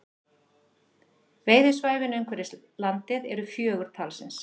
Veiðisvæðin umhverfis landið eru fjögur talsins